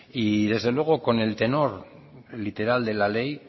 y desde luego con el tenor literal de la ley